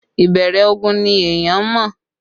Ìbẹ̀rẹ̀ ogun ni èèyàn ń mọ